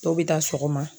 Dɔw bɛ taa sɔgɔma